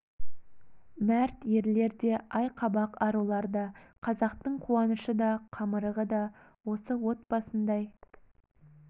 мәрт ерлер де ай қабақ арулар да қазақтың қуанышы да қамырығы да осы от басындай